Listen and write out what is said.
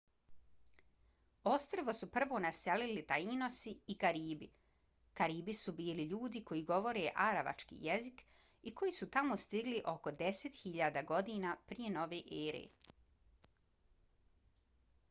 ostrvo su prvo naselili tainosi i karibi. karibi su bili ljudi koji govore aravački jezik i koji su tamo stigli oko 10.000 godina prije nove ere